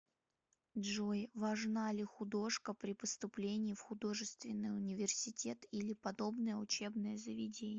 джой важна ли художка при поступлении в художественный университет или подобное учебное заведение